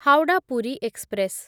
Howrah Puri express